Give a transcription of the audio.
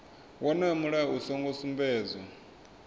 wonoyo mulayo u songo sumbedzwa